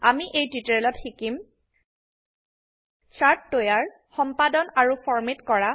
আমি এই টিউটোৰিয়েলত শিকিম160 চাৰ্ট তৈয়াৰ সম্পাদন আৰু ফৰম্যাট কৰা